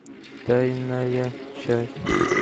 тайная часть